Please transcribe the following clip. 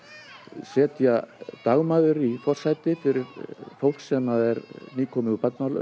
setja dagmæður í forsæti fyrir fólk sem er nýkomið úr